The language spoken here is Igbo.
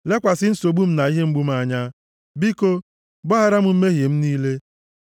Lekwasị nsogbu m na ihe mgbu m anya. Biko, gbaghara m mmehie m niile.